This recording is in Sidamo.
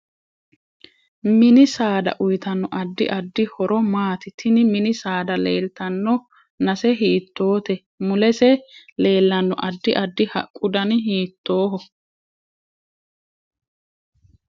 Mini saada uyiitanno addi addi horo maati tini mini saada leeltanno nase hiitoote mulese leelanno addi addi haqqu dani hiitooho